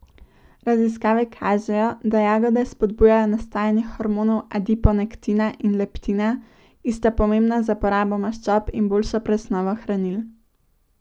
Raziskave kažejo, da jagode spodbujajo nastajanje hormonov adiponektina in leptina, ki sta pomembna za porabo maščob in boljšo presnovo hranil.